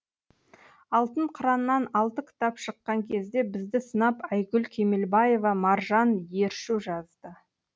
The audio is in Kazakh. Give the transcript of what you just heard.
алтын қыраннан алты кітап шыққан кезде бізді сынап айгүл кемелбаева маржан ершу жазды